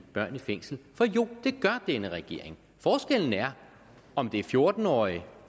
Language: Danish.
fængsel for jo det gør denne regering forskellen er om det fjorten årige